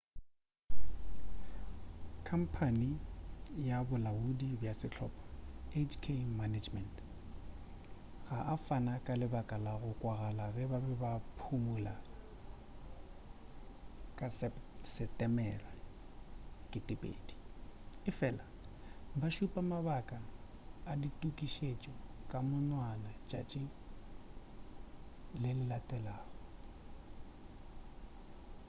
khamphane ya bolaodi bja sehlopa hk management inc ga a fana ka lebaka la go kwagala ge ba be ba phumula ka setemere 20 efela ba šupa mabaka a ditukišetšo ka monwana letšatši le le latelago